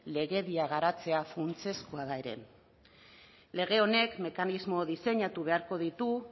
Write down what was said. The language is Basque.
legedia garatzea funtsezkoa da ere lege honek mekanismoak diseinatu beharko ditu